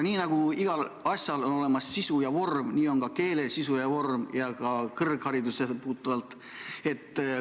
Nii nagu igal asjal on olemas sisu ja vorm, nii on ka keelel sisu ja vorm ka kõrgharidusse puutuvalt.